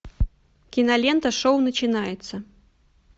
кинолента шоу начинается